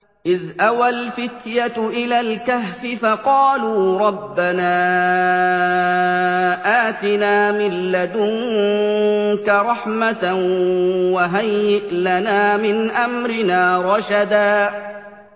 إِذْ أَوَى الْفِتْيَةُ إِلَى الْكَهْفِ فَقَالُوا رَبَّنَا آتِنَا مِن لَّدُنكَ رَحْمَةً وَهَيِّئْ لَنَا مِنْ أَمْرِنَا رَشَدًا